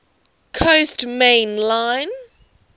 coast main line